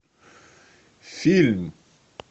фильм